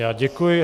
Já děkuji.